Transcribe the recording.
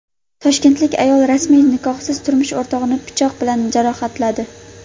Toshkentlik ayol rasmiy nikohsiz turmush o‘rtog‘ini pichoq bilan jarohatladi.